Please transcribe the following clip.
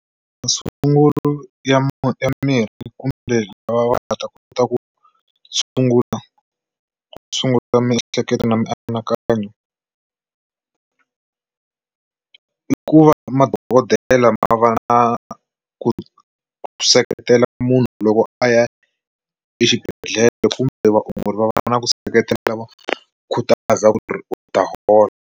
Masungulo ya ya mirhi kumbe lava va nga ta kota ku sungula ku sungula miehleketo na mianakanyo i ku va madokodela ma va na ku seketela munhu loko a ya exibedhlele kumbe vaongori va va na ku seketela va khutaza ku ri u ta hola.